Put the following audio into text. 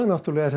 er